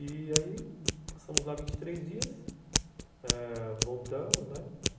E aí, passamos lá vinte e três dias, voltamos, né?